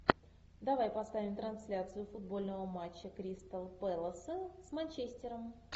давай поставим трансляцию футбольного матча кристал пэласа с манчестером